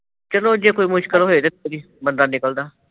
ਚਲੋ ਜੇ ਕੋਈ ਮੁਸ਼ਕਿਲ ਹੋਏ, ਤੇ ਫੇਰ ਹੀ ਬੰਦਾ ਨਿਕਲਦਾ